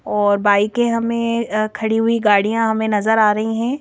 और बाईकें हमें अह खड़ी हुई गाड़ियां हमें नजर आ रही हैं।